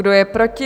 Kdo je proti?